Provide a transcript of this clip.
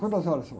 Quantas horas são?